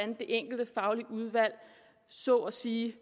det enkelte faglige udvalg så at sige